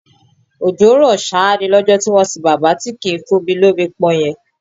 Òjò ń rọ ṣáá ni lọ́jọ́ tí wọ́n sìn bàbá tí kì í fúnni lomi pọn yẹn